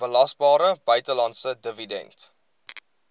belasbare buitelandse dividend